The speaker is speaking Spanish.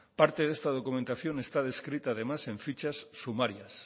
parte de esta documentación está descrita además en fichas sumarias